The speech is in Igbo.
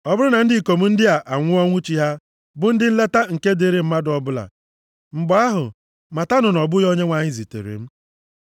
Ọ bụrụ na ndị ikom ndị a anwụọ ọnwụ chi ha, bụ ụdị nleta nke dịrị mmadụ ọbụla, mgbe ahụ, matanụ na ọ bụghị Onyenwe anyị zitere m.